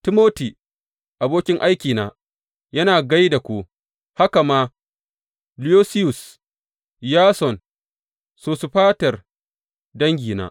Timoti, abokin aikina, yana gai da ku, haka ma Lusiyus, Yason, da Sosifater, dangina.